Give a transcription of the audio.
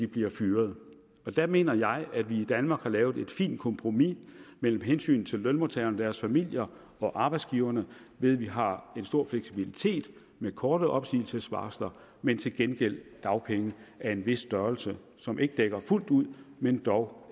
bliver fyret og der mener jeg at vi i danmark har lavet et fint kompromis mellem hensynet til lønmodtagerne og deres familier og arbejdsgiverne ved at vi har en stor fleksibilitet med korte opsigelsesvarsler men til gengæld dagpenge af en vis størrelse som ikke dækker fuldt ud men dog